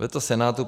Veto Senátu